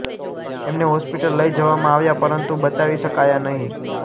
એમને હોસ્પિટલ લઇ જવામાં આવ્યા પરંતુ બચાવી શકાયા નહીં